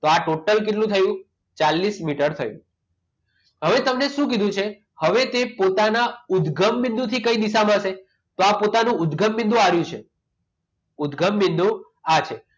તો આ total કેટલું થયું? ચાલીસ મીટર થયું હવે તમને શું કીધું છે? હવે તે પોતાના ઉદગમ બિંદુથી કઈ દિશામાં છે? તો આ પોતાના ઉદગમ બિંદુ આ છે ઉદગમ બિંદુ આ છે.